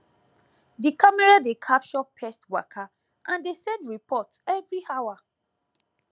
di camera dey capture pest waka and dey send report every hour